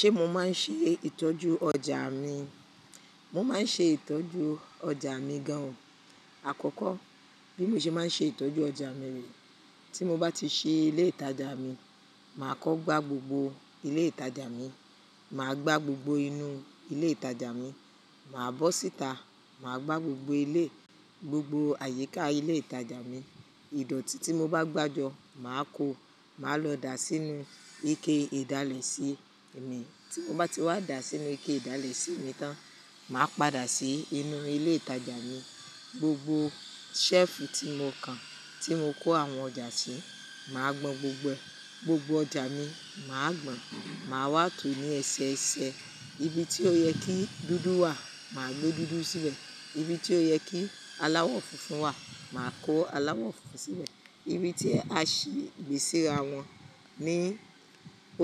Ṣé mo máa ń ṣe ìtọ́jú ọjà mi? Mo máa ń ṣe ìtọ́jú ọjà mi gan. Àkọ́kọ́ bí mo ṣe máa ń ṣe ìtọ́jú ọjà mi re, tí mo bá ti ṣe ilé ìtajà mi, màá kọ́ gbà gbogbo ilé ìtajà mi, màá gbà gbogbo inú ilé ìtajà mi, màá bọ́ síta, màá gbà gbogbo ilé, gbogbo àyíká ilé ìtajà mi. Ìdọ̀tí tí mo bá gbà jọ, màá kó, màá lọ dà sínú ike ìdálẹ̀ sí mi. Tí mo bá ti wá dà sínú ike ìdálẹ̀ sí mi tán, màá padà sí inú ilé ìtajà mi. Gbogbo ṣẹ́ẹ̀fù tí mo kan, tí mo kó àwọn ọjà sí, màá gbọn gbogbo ẹ. Gbogbo ọjà mi, màá gbọn. Màá wá tò ó ní ẹsẹ ẹsẹ. Ibi tí ó yẹ kí dúdú wà, màá gbé dúdú síbẹ̀. Ibi tí ó yẹ kí aláwọ̀ funfun wà, màá kó aláwọ̀ funfun síbẹ̀. Ibi tí a sì gbé síra wọn ní